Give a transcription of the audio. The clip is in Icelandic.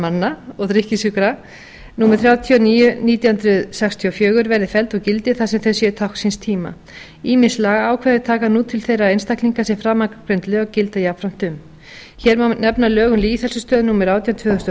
manna og drykkjusjúkra númer þrjátíu og níu nítján hundruð sextíu og fjögur verði felld úr gildi þar sem þau séu tákn síns tíma ýmis lagaákvæði taka nú til þeirra einstaklinga sem framangreind lög gilda jafnframt um má hér nefna lög um lýðheilsustöð númer átján tvö þúsund og